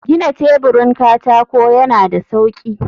gina teburin katako yana da sauƙi.